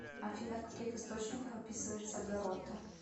афина в каких источниках описывается гаррота